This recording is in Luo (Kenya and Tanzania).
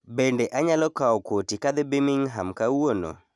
Bende anyalo kao koti ka adhi Birmingham kawuono